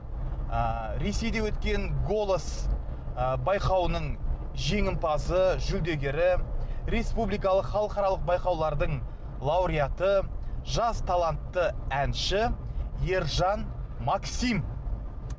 ы ресейде өткен голос ы байқауының жеңімпазы жүлдегері республикалық халықаралық байқаулардың лауреаты жас талантты әнші ержан максим